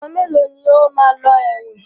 Àwọn mélòó ní o máa lọ ẹ̀wọ̀n?